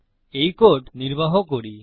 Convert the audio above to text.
এই কোড নির্বাহ করি